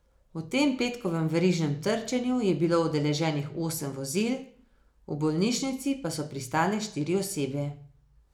V tem petkovem verižnem trčenju je bilo udeleženih osem vozil, v bolnišnici pa so pristale štiri osebe.